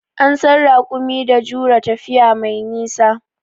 An san raƙumi da jure tafiya mai nisa.